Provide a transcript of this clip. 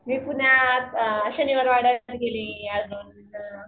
मी पुण्यात शनिवार वाडा गेली अन